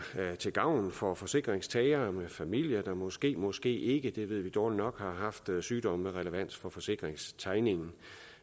til gavn for forsikringstagere med familie der måske måske ikke det ved vi dårlig nok har haft sygdomme med relevans for forsikringstegningen